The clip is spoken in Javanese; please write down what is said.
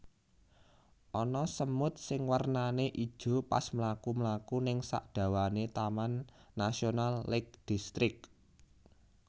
Ana semut sing wernane ijo pas mlaku mlaku ning sak dawane Taman Nasional Lake District